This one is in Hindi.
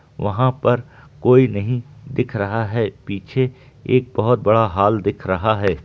वहां पर कोई नहीं दिख रहा है पीछे एक बहोत बड़ा हॉल दिख रहा है।